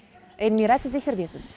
эльмира сіз эфирдесіз